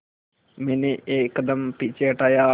मैंने एक कदम पीछे हटाया